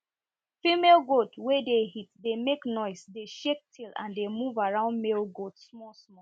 female goat wey dey heat dey make noise dey shake tail and dey move around male goat small small